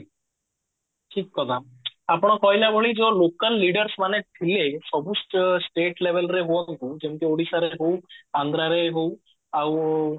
ଠିକ କଥା ଆପଣ କହିଲା ଭଳି ଯୋଉ ଲୋକାଲ leaders ମାନେ ସବୁ ସବୁ state label ରେ ହୁଅନ୍ତୁ କି ଯେମତି ଓଡିଶାର ହଉ ଆନ୍ଧ୍ରାରେ ହଉ ଆଉ